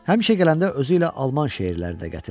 Həmişə gələndə özü ilə Alman şeirləri də gətirərdi.